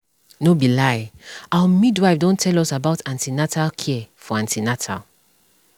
no be lie our midwife don tell us about an ten atal care for an ten atal